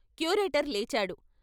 Curator లేచాడు.